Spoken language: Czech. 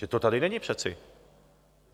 Vždyť to tady není přeci.